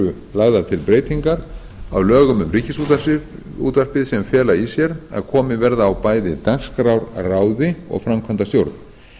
lagðar til breytingar á lögum um ríkisútvarpið sem fela í sér að komið verði á bæði dagskrárráði og framkvæmdastjórn